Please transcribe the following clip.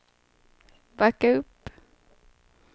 backa upp